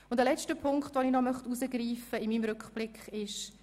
Einen letzten Punkt möchte ich in meinem Rückblick noch herausgreifen.